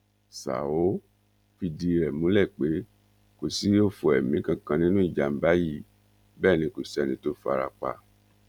ṣá ò fìdí ẹ múlẹ pé kò sí ọfọ ẹmí kankan nínú ìjàmbá yìí bẹẹ ni kò sẹni tó farapa